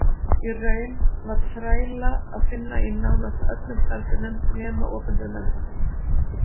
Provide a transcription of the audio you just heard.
Í raun var þræla að finna í nánast öllum starfsgreinum nema opinberum embættum.